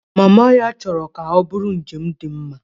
Mama ya chọrọ ka ọ bụrụ njem dị mma